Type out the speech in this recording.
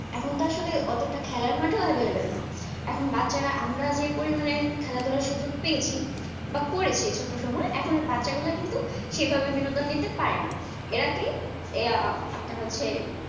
এখুন তো আসলে খেলার মাঠও available না এখুন বাচ্চারা রা আমরা যেই পরিমানে খেলা ধুলার সুযোগ পেয়েছি বা করেছি ছোট সময়ে এখুন বাছা গুলা কিন্তু সেভাবে বিন্দন নিতে পারেনা এরা কি এরা হচ্ছে আপনার